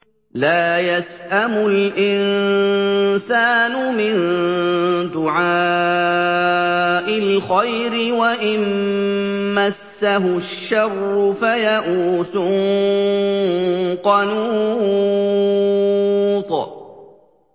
لَّا يَسْأَمُ الْإِنسَانُ مِن دُعَاءِ الْخَيْرِ وَإِن مَّسَّهُ الشَّرُّ فَيَئُوسٌ قَنُوطٌ